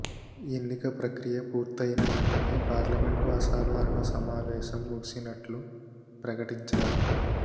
ఎన్నిక ప్రకియ పూర్తయిన వెంటనే పార్లమెంటు అసాధారణ సమావేశం ముగిసినట్లు ప్రకటించారు